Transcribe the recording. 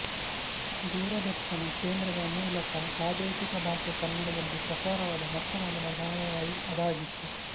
ದೂರದರ್ಶನ ಕೇಂದ್ರದ ಮೂಲಕ ಪ್ರಾದೇಶಿಕ ಭಾಷೆ ಕನ್ನಡದಲ್ಲಿ ಪ್ರಸಾರವಾದ ಮೊಟ್ಟಮೊದಲ ಧಾರಾವಾಹಿ ಅದಾಗಿತ್ತು